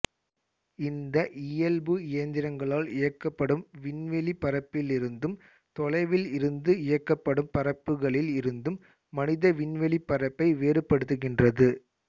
இந்த இயல்பு இயந்திரங்களால் இயக்கப்படும் விண்வெளிப்பறப்பிலிருந்தும் தொலைவில் இருந்து இயக்கப்படும் பறப்புக்களில் இருந்தும் மனித விண்வெளிப்பறப்பை வேறுபடுத்துகின்றது